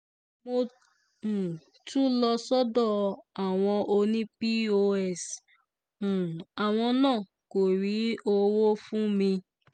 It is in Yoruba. mo um tún lọ sọ́dọ̀ àwọn ọ̀nìpos um àwọn náà kó rí owó fún mi